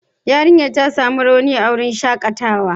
Yarinyar ta samu rauni a wurin shakatawa.